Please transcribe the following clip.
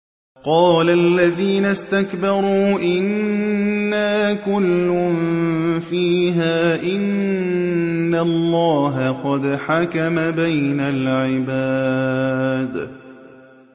قَالَ الَّذِينَ اسْتَكْبَرُوا إِنَّا كُلٌّ فِيهَا إِنَّ اللَّهَ قَدْ حَكَمَ بَيْنَ الْعِبَادِ